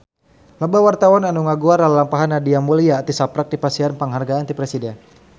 Loba wartawan anu ngaguar lalampahan Nadia Mulya tisaprak dipasihan panghargaan ti Presiden